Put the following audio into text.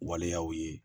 Waleyaw ye